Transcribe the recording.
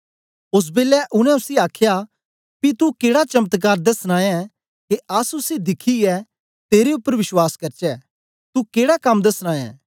ओस बेलै उनै उसी आखया पी तू केड़ा चमत्कार दसना ऐं के असुसी दिखियै तेरे उपर विश्वास करचै तू केडा कम्म दसना ऐं